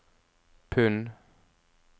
pund